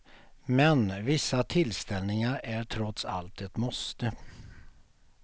Men vissa tillställningar är trots allt ett måste.